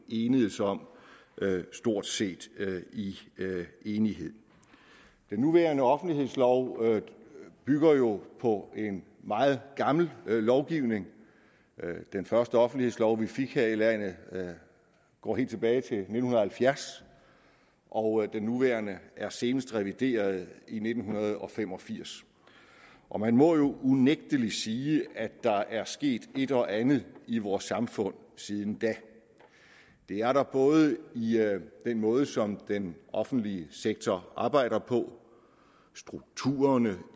enedes om stort set i enighed den nuværende offentlighedslov bygger jo på en meget gammel lovgivning den første offentlighedslov vi fik her i landet går helt tilbage til nitten halvfjerds og den nuværende er senest revideret i nitten fem og firs og man må jo unægtelig sige at der er sket et og andet i vores samfund siden da det er der både i den måde som den offentlige sektor arbejder på i strukturerne